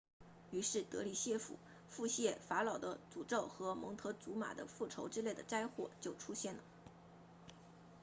于是德里腹泻法老的诅咒和蒙特祖玛的复仇之类的灾祸就出现了